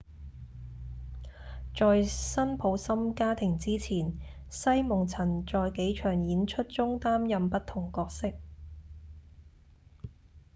在《辛普森家庭》之前西蒙曾在幾場演出中擔任不同角色